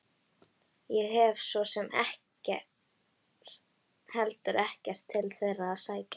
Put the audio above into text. Ég hef svo sem heldur ekkert til þeirra að sækja.